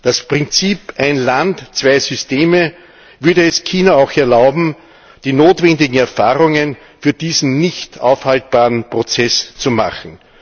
Das Prinzip Ein Land zwei Systeme würde es China auch erlauben, die notwendigen Erfahrungen für diesen nicht aufhaltbaren Prozess zu machen.